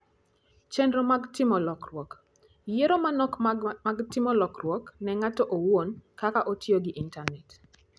Chenro mag Timo Lokruok: Yiero manok mag timo lokruok ne ng'ato owuon kaka otiyo gi Intanet.